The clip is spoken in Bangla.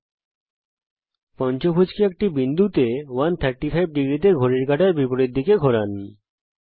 মূল পঞ্চভূজ কে একটি বিন্দুতে 135°তে ঘড়ির কাঁটার বিপরীত দিকে ঘোরান